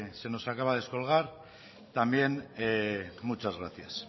se nos acaba de descolgar también muchas gracias